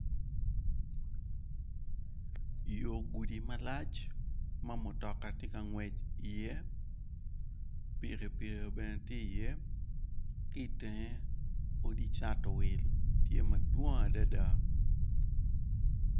Yo gudi malac mamutoka ngwec i ye pikipiki bene tye i ye kitenge odi cato wil tye madwong adada.